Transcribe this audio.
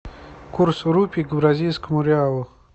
курс рупий к бразильскому реалу